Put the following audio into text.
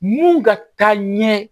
Mun ka taa ɲɛ